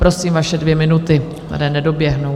Prosím, vaše dvě minuty, které nedoběhnou.